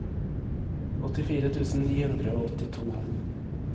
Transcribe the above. åttifire tusen ni hundre og åttito